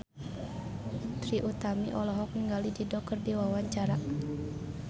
Trie Utami olohok ningali Dido keur diwawancara